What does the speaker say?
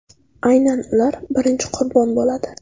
Aynan ular birinchi qurbon bo‘ladi.